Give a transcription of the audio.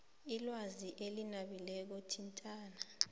ilwazi elinabileko thintana